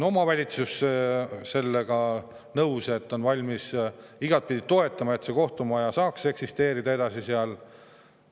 Omavalitsus on valmis igatpidi toetama, et see kohtumaja saaks seal edasi eksisteerida.